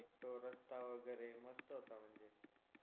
तो रस्ता वगैरे मस्त म्हणजे